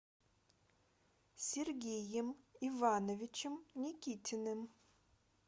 сергеем ивановичем никитиным